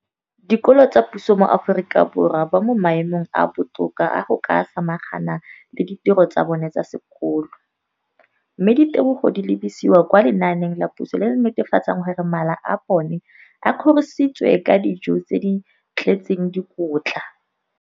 Dikolo tsa puso mo Aforika Borwa ba mo maemong a a botoka a go ka samagana le ditiro tsa bona tsa sekolo, mme ditebogo di lebisiwa kwa lenaaneng la puso le le netefatsang gore mala a bona a kgorisitswe ka dijo tse di tletseng dikotla.